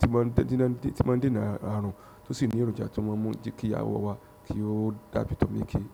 tí máa ń díná tí máa ń díná àrùn tó sì ní èròjà tí ó máa ń mú kí àwọ̀ wa kí ó dàbí tọmọ ékeé.